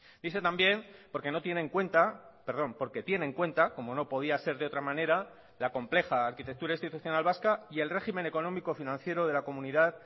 dice también porque no tiene en cuenta perdón porque tiene en cuenta como no podía ser de otra manera la compleja arquitectura institucional vasca y el régimen económico financiero de la comunidad